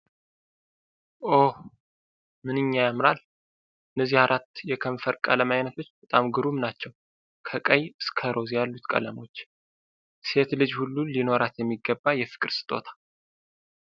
ኦህ፣ ምንኛ ያምራል! እነዚህ አራት የከንፈር ቀለም አይነቶች በጣም ግሩም ናቸው! ከቀይ እስከ ሮዝ ያሉት ቀለሞች! ሴት ልጅ ሁሉ ሊኖራት የሚገባ የፍቅር ስጦታ!